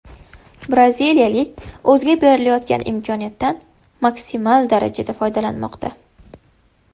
Braziliyalik o‘ziga berilayotgan imkoniyatdan maksimal darajada foydalanmoqda.